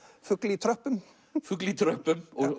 fugl í tröppum fugl í tröppum og